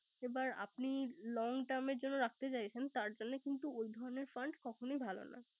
এবার আপনি Long term জন্য রাখতে চাইছেন। তার জন্য কিন্তু ওই ধরনের fund কখনো ভালো না